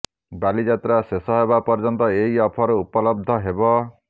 ବାଲିଯାତ୍ରା ଶେଷ ହେବା ପର୍ଯ୍ୟନ୍ତ ଏହି ଅଫର ଉପଲବ୍ଧ ହେବ